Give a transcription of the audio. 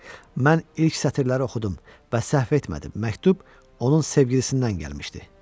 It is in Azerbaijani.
Mən ilk sətirləri oxudum və səhv etmədim, məktub onun sevgilisindən gəlmişdi.